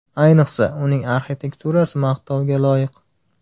Ayniqsa, uning arxitekturasi maqtovga loyiq.